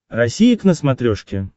россия к на смотрешке